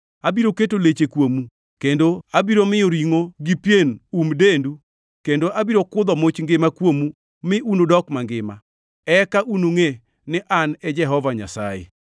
Abiro keto leche kuomu kendo abiro miyo ringʼo gi pien um dendu kendo abiro kudho much ngima kuomu mi unudok mangima. Eka unungʼe ni An e Jehova Nyasaye.”